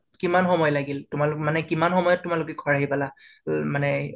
কিমান সময় লাগিল তোমালোক মানে কিমান সময়ত ঘৰ আহি পালা উম মানে